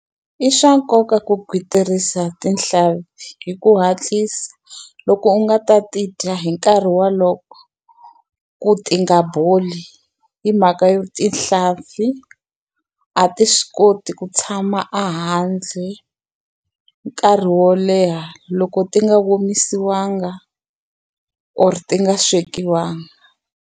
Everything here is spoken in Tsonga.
I swa nkoka ku gwitsirisa tihlampfi hi ku hatlisa, loko u nga ta ti dya hi nkarhi wolowo ku ti nga boli. Hi mhaka yo tihlampfi a ti swi koti ku tshama ehandle nkarhi wo leha loko ti nga omisiwanga or ti nga swekiwaka.